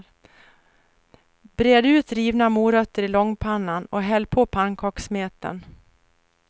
Bred ut rivna morötter i långpannan och häll på pannkakssmeten.